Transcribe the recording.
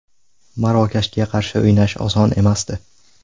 Marokashga qarshi o‘ynash oson emasdi.